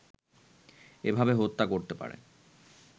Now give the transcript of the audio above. এভাবে হত্যা করতে পারে